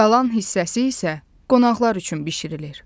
Qalan hissəsi isə qonaqlar üçün bişirilir.